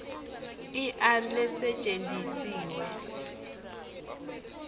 i r lesetjentisiwe